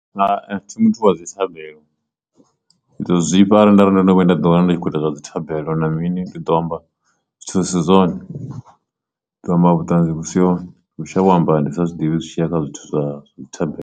Hai, thi muthu wa dzi thabelo ndi ḓo zwifha arali ndari ndo no vhuya nda ḓi wana ndi tshi khou ita zwa dzi thabelo na mini ndi ḓo amba zwithu zwi si zwone ḓo amba vhutanzi vhu si hone shavha u amba ndi sa zwiḓivhi zwi tshiya kha zwithu zwa thabelo.